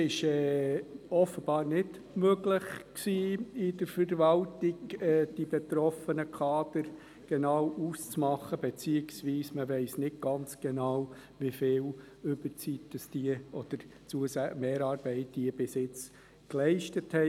Es war offenbar vonseiten der Verwaltung nicht möglich, die betroffenen Kader genau auszumachen, respektive man weiss nicht genau, wie viel Überzeit oder Mehrarbeit diese bisher geleistet haben.